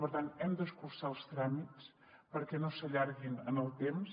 per tant hem d’escurçar els tràmits perquè no s’allarguin en el temps